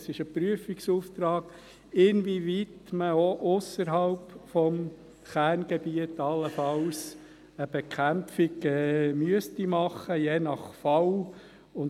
Es ist ein Prüfungsauftrag, inwieweit man auch ausserhalb des Kerngebiets, je nach Fall, allenfalls eine Bekämpfung machen müsste.